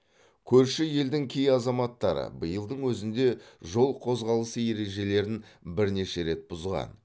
көрші елдің кей азаматтары биылдың өзінде жол қозғалысы ережелерін бірнеше рет бұзған